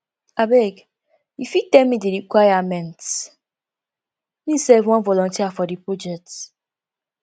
abeg you fit tell me di requirements me sef wan voluteer for di project